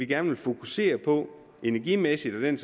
gerne vil fokusere på energimæssigt og den